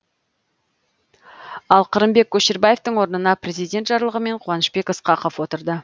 ал қырымбек көшербаевтың орнына президент жарлығымен қуанышбек ысқақов отырды